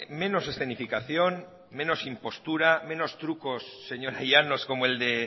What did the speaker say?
menos escenificación menos impostura menos trucos señora llanos como el de